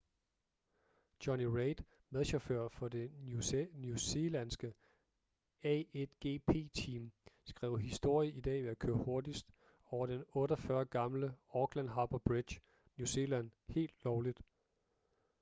jonny reid medchauffør for det new zealandske a1gp team skrev historie i dag ved at køre hurtigst over den 48 år gamle auckland harbour bridge new zealand helt lovligt